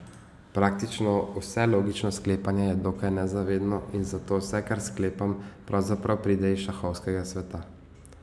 Praktično vse logično sklepanje je dokaj nezavedno in zato vse, kar sklepam, pravzaprav pride iz šahovskega sveta.